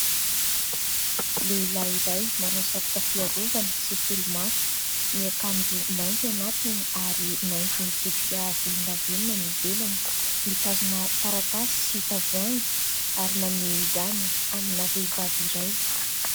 Lehilahy iray manao satroka fiarovana sy solomaso, miakanjo mainty anatiny ary maitso mitsipika volondavenona ny ivelany. Mitazona taratasy sy tavoahangy ary maneho izany amina vehivavy iray.